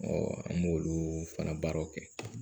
an b'olu fana baaraw kɛ